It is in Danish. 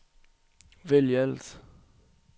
vælg alt